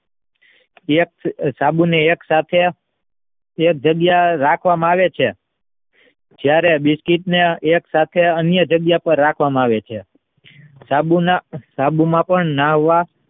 સાબુને એક સાથે એજ જગ્યા એ રાખવાંમાં આવે છે. જયારે બ્લિચિંગ ને એક સાથે અન્ય જગ્યા એ રાખવામાં આવે છે સાબુમાં પણ નાહવા